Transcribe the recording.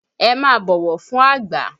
Ẹ máa bọ̀wọ̀ fún àgbà!